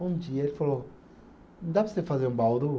Bom dia, ele falou, dá para você fazer um Bauru?